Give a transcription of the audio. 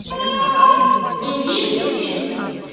индийский фильм